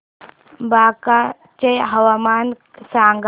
बांका चे हवामान सांगा